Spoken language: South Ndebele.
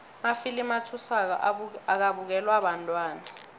amafilimu athusako akabukelwa bantwana